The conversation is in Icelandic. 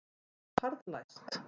Það var harðlæst.